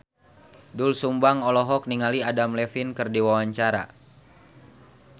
Doel Sumbang olohok ningali Adam Levine keur diwawancara